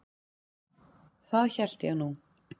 Það hélt ég nú.